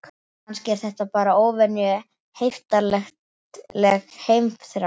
Kannski er þetta bara óvenju heiftarleg heimþrá.